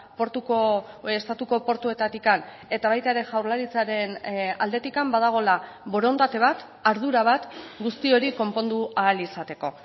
portuko estatuko portuetatik eta baita ere jaurlaritzaren aldetik badagoela borondate bat ardura bat guzti hori konpondu ahal izateko